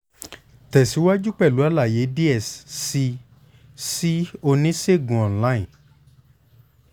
tẹsiwaju pẹlu alaye diẹ sii si onisegun online